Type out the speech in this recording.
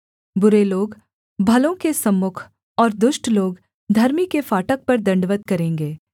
बुरे लोग भलों के सम्मुख और दुष्ट लोग धर्मी के फाटक पर दण्डवत् करेंगे